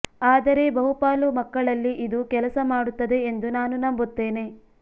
ಆದರೆ ಬಹುಪಾಲು ಮಕ್ಕಳಲ್ಲಿ ಇದು ಕೆಲಸ ಮಾಡುತ್ತದೆ ಎಂದು ನಾನು ನಂಬುತ್ತೇನೆ